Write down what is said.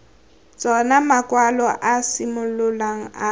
tsona makwalo a simololang a